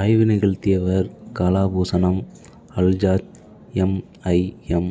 ஆய்வு நிகழ்த்தியவர் கலாபூசணம் அல்ஹாஜ் எம் ஐ எம்